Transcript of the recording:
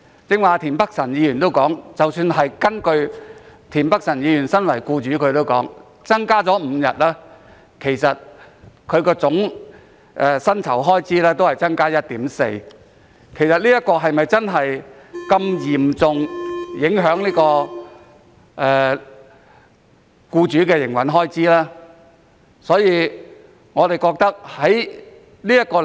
即使身為僱主的田北辰議員剛才亦表示，如果增加5天假期，總薪酬開支只會增加 1.4%， 是否真的會嚴重影響僱主的營運開支呢？